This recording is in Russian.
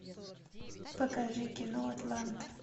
покажи кино атланта